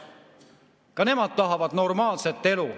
Ka nemad tahavad normaalset elu.